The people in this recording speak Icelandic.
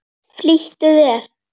Flýttu þér!